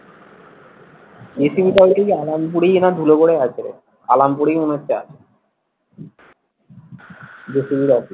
জি CV টা হচ্ছে গিয়ে আলমপুরেই না ধুলাগরে আছে আলামপুরেই মনে হচ্ছে আছে জেসিভি র অফিস।